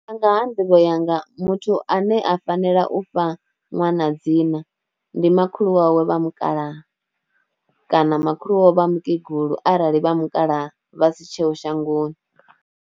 Nga ha nḓivho yanga muthu ane a fanela u fha ṅwana dzina ndi makhulu wawe vha mukalaha kana makhulu wawe vha mukegulu arali vha mukalaha vha si tsheho shangoni.